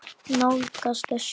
Nálgast öskur.